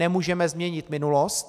Nemůžeme změnit minulost.